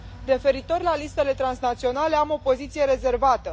Referitor la listele transnaționale am o poziție rezervată.